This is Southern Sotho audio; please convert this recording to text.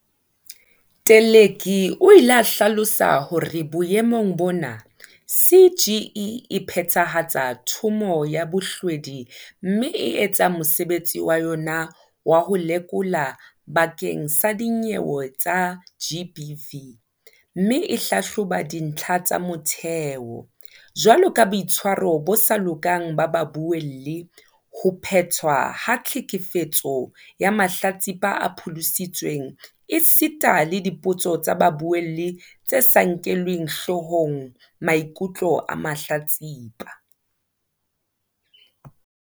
Teleki o ile a hlalosa hore boemong bona CGE e phethahatsa Thomo ya Bohlwedi mme e etsa mo sebetsi wa yona wa ho lekola bakeng sa dinyewe tsa GBV mme e hlahloba dintlha tsa motheo, jwaloka boitshwaro bo sa lokang ba babuelli, ho phetwa ha tlhekefetso ya mahlatsipa a pholositsweng esita le dipotso tsa babuelli tse sa nkeleng hlohong mai kutlo a mahlatsipa.